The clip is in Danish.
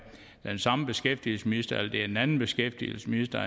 den samme beskæftigelsesminister eller om det er en anden beskæftigelsesminister